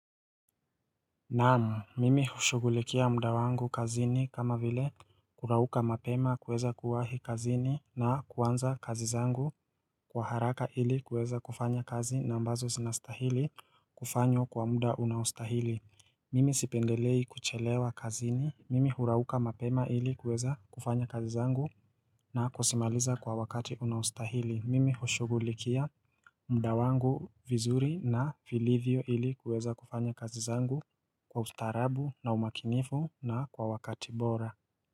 Naam, mimi hushughulikia muda wangu kazini kama vile kurauka mapema kuweza kuwahi kazini na kuanza kazi zangu kwa haraka ili kuweza kufanya kazi na ambazo zinastahili kufanywa kwa muda unaostahili. Mimi sipendelei kuchelewa kazini. Mimi hurauka mapema ili kuweza kufanya kazi zangu na kuzimaliza kwa wakati unaostahili. Mimi hushughulikia muda wangu vizuri na vilivyo ili kuweza kufanya kazi zangu kwa ustaarabu na umakinifu na kwa wakati bora.